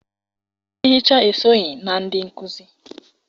Ndị nhicha esonyị na ndị nkuzi